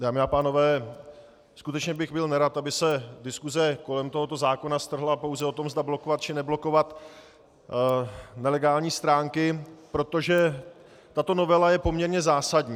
Dámy a pánové, skutečně bych byl nerad, aby se diskuse kolem tohoto zákona strhla pouze o tom, zda blokovat, či neblokovat nelegální stránky, protože tato novela je poměrně zásadní.